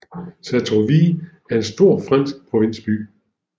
Sartrouville er en stor fransk provinsby